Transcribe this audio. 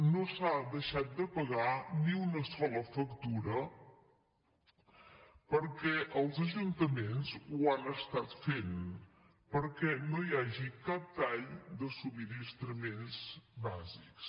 no s’ha deixat de pagar ni una sola factura perquè els ajuntaments ho han estat fent perquè no hi hagi cap tall de subministraments bàsics